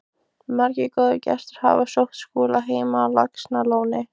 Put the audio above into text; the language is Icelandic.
Margir góðir gestir hafa sótt Skúla heim á Laxalóni.